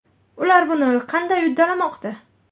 Ular buni qandy uddalamoqda?